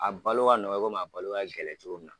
A balo ka nɔgɔ i komi a balo ka gɛlɛ cogo min na.